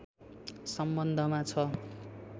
सम्बन्धमा छ